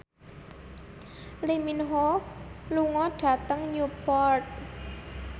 Lee Min Ho lunga dhateng Newport